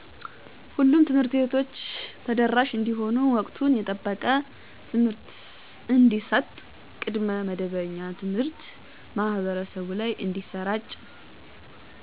ሁሉም ትምህርቶች ተደራሽ እንዲሆኑ ወቅቱን የጠበቀ ትምህርት እንዲሰጥ ቅድመ መደበኛ ትምሀርት ማህበረሰቡ ላይ እንዲሰራጭ